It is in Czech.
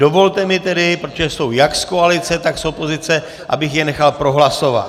Dovolte mi tedy, protože jsou jak z koalice, tak z opozice, abych je nechal prohlasovat.